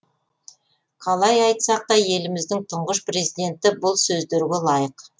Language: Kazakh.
қалай айтсақ та еліміздің тұңғыш президенті бұл сөздерге лайық